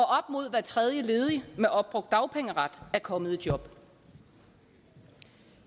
mod hver tredje ledig med opbrugt dagpengeret er kommet i job